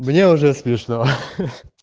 мне уже смешно